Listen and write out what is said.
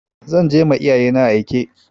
Za je ma iyayena aike.